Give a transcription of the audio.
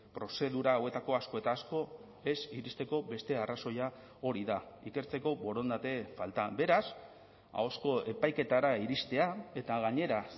prozedura hauetako asko eta asko ez iristeko beste arrazoia hori da ikertzeko borondate falta beraz ahozko epaiketara iristea eta gainera